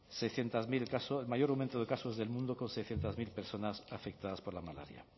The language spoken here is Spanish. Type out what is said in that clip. seiscientos mil casos el mayor aumento de casos del mundo con seiscientos mil personas afectadas por la malaria